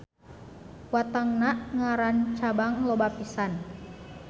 Watangna ngarancabang loba pisan.